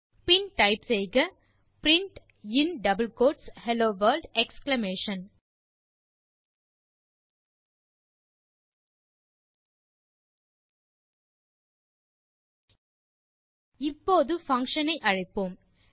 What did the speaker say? பின் type செய்க print in double quotes hello world exclamation இப்போது function ஐ அழைப்போம்